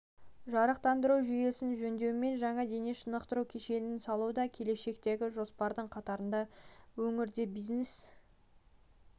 жарықтандыру жүйесін жөндеу мен жаңа дене шынықтыру кешенін салу да келешектегі жоспарлардың қатарында өңірде бизнесті